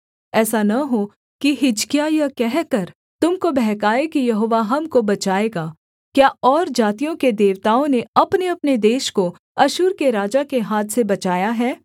ऐसा न हो कि हिजकिय्याह यह कहकर तुम को बहकाए कि यहोवा हमको बचाएगा क्या और जातियों के देवताओं ने अपनेअपने देश को अश्शूर के राजा के हाथ से बचाया है